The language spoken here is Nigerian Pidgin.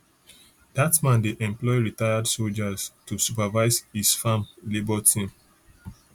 dat man dey employ retired soldier to supervise his farm labour team